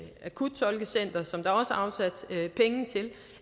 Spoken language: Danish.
akuttolkecenter som der er afsat penge til